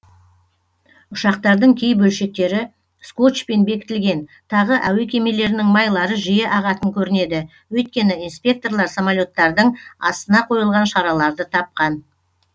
ұшақтардың кей бөлшектері скотчпен бекітілген тағы әуе кемелерінің майлары жиі ағатын көрінеді өйткені инспекторлар самолеттардың астына қойылған шараларды тапқан